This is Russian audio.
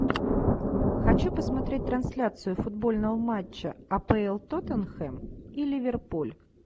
хочу посмотреть трансляцию футбольного матча апл тоттенхэм и ливерпуль